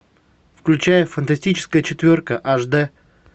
включай фантастическая четверка аш дэ